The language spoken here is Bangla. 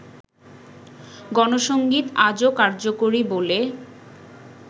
গণসংগীত আজও কার্যকরী বলে